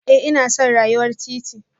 Eh ina son rayuwar titi